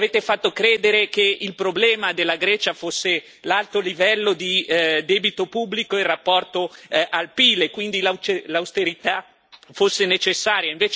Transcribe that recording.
Ci avete fatto credere che il problema della Grecia fosse l'alto livello di debito pubblico in rapporto al PIL, e quindi che l'austerità fosse necessaria.